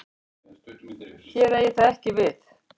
Hér eigi það ekki við.